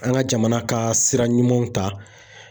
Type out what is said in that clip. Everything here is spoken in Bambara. An ka jamana ka sira ɲumanw ta.